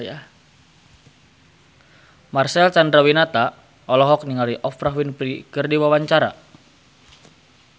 Marcel Chandrawinata olohok ningali Oprah Winfrey keur diwawancara